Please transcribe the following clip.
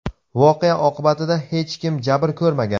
Voqea oqibatida hech kim jabr ko‘rmagan.